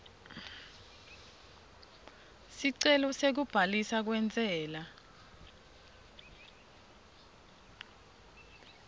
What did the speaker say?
sicelo sekubhaliswa kwentsela